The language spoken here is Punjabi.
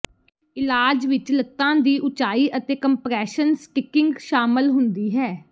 ਇਲਾਜ ਵਿਚ ਲੱਤਾਂ ਦੀ ਉੱਚਾਈ ਅਤੇ ਕੰਪਰੈਸ਼ਨ ਸਟਿੱਕਿੰਗ ਸ਼ਾਮਲ ਹੁੰਦੀ ਹੈ